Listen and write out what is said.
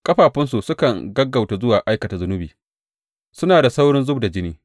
Ƙafafunsu sukan gaggauta zuwa aikata zunubi; suna da saurin zub da jini.